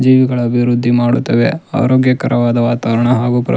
ಜೀವಿಗಳ ಅಭಿವೃದ್ಡಿ ಮಾಡುತ್ತವೇ ಆರೋಗ್ಯಕರವಾದ ವಾತಾವರಣ ಹಾಗು ಪೃ --